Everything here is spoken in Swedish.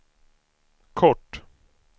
kort